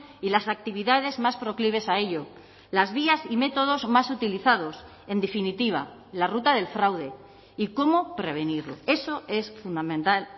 y las actividades más proclives a ello las vías y métodos más utilizados en definitiva la ruta del fraude y cómo prevenirlo eso es fundamental